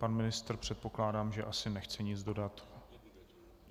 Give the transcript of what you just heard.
Pan ministr, předpokládám, že asi nechce nic dodat.